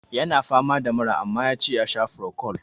Ya na fama da mura, amma ya ce ya sha frocwal.